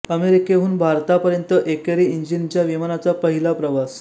अमेरिकेहून भारता पर्यंत एकेरी इंजिनच्या विमानाचा पहिला प्रवास